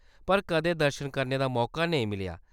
पर कदें दर्शन करने दा मौका नेईं मिलेआ।